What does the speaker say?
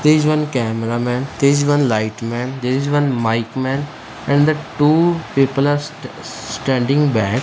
there is one cameraman there is one light man there is one mic man and the two people are st standing back.